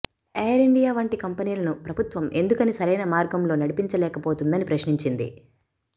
ఎయిరిండియా వంటి కంపెనీలను ప్రభుత్వం ఎందుకని సరైన మార్గంలో నడిపించలేకపోతుందని ప్రశ్నించింది